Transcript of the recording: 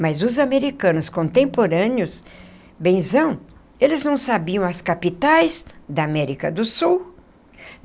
Mas os americanos contemporâneos, benzão, eles não sabiam as capitais da América do Sul.